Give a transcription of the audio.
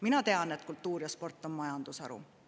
Mina tean, et kultuur ja sport on majandusharu.